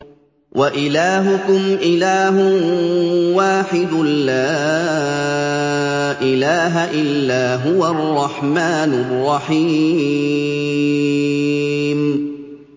وَإِلَٰهُكُمْ إِلَٰهٌ وَاحِدٌ ۖ لَّا إِلَٰهَ إِلَّا هُوَ الرَّحْمَٰنُ الرَّحِيمُ